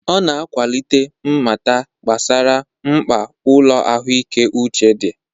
Ọ na-akwalite mmata gbasara mkpa ụlọ ahụike uche dị.